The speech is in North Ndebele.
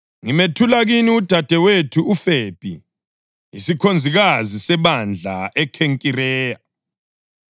Ngimethula kini udadewethu uFebhi, isikhonzikazi sebandla eKhenkireya.